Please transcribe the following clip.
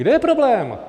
Kde je problém?